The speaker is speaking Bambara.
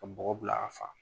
Ka bɔgɔ bila a fa.